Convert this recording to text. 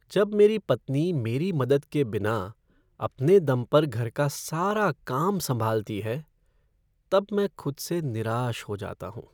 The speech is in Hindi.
जब मेरी पत्नी मेरी मदद के बिना अपने दम पर घर का सारा काम संभालती है तब मैं खुद से निराश हो जाता हूँ ।